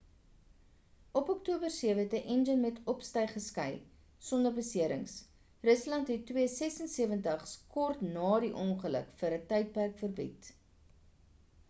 op oktober 7 het 'n enjin met opstyg geskei sonder beserings. rusland het il-76's kort ná die ongeluk vir ń tydperk verbied